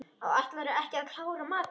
Ætlarðu ekki að klára matinn?